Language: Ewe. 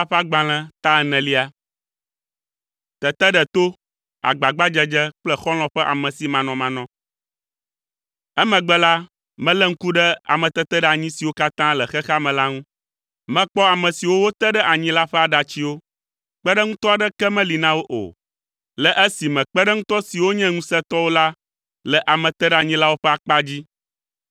Emegbe la, melé ŋku ɖe ameteteɖeanyi siwo katã le xexea me la ŋu. Mekpɔ ame siwo wote ɖe anyi la ƒe aɖatsiwo; kpeɖeŋutɔ aɖeke meli na wo o, le esime kpeɖeŋutɔ siwo nye ŋusẽtɔwo la le ameteɖeanyilawo ƒe akpa dzi.